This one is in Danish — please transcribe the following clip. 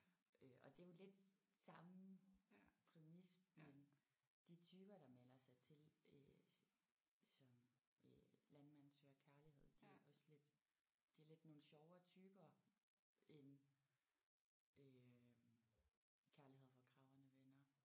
Øh og det er jo lidt samme præmis men de typer der melder sig til øh som øh Landmand søger kærlighed de er også lidt det er lidt nogle sjovere typer end øh Kærlighed hvor kragerne vender